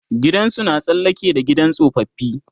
gidansu na tsallake da gidan tsofaffi